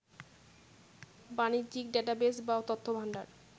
বাণিজ্যিক ডেটাবেজ বা তথ্যভাণ্ডার